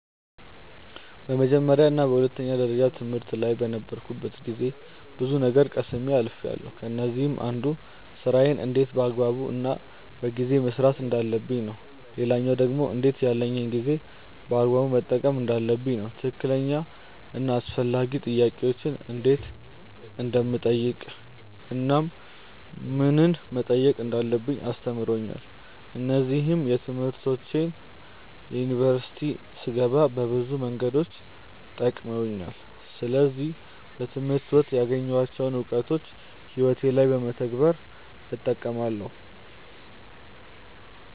በመጀመርያ እና በሁለተኛ ደረጃ ትምህርት ላይ በነበርኩበት ጊዜ ብዙ ነገር ቀስሜ አልፍያለው። ከነዚህም አንዱ ስራዬን እንዴት በአግባቡ እና በጊዜ መስራት እንዳለብኝ ነው። ሌላኛው ደግሞ እንዴት ያለኝን ጊዜ በአግባቡ መጠቀም እንዳለብኝ ነው። ትክክለኛ እና አስፈላጊ ጥያቄዎችን እንዴት እንደምጠይቅ እናም ምንን መጠየቅ እንዳለብኝ አስተምሮኛል። እነዚህም ትምህርቶች ዩኒቨርሲቲ ስገባ በብዙ መንገዶች ጠቅመውኛል። ስለዚህ በትምህርት ወቅት ያገኘኋቸውን እውቀቶች ህይወቴ ላይ በመተግበር እጠቀማለው።